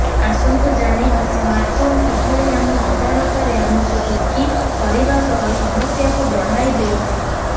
ଆସନ୍ତୁ ଜାଣିବା ସ୍ମାର୍ଟଫୋନ୍ କିଭଳି ଆମ ଅଜାଣତରେ ଆମକୁ ଦୁଃଖି କରିବା ସହ ସମସ୍ୟାକୁ ବଢ଼ାଇ ଦେଉଛି